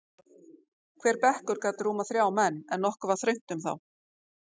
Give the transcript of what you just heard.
Hver bekkur gat rúmað þrjá menn, en nokkuð var þröngt um þá.